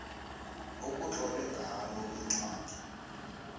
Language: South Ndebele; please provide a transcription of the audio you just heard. ekutlolwe ngalo incwadi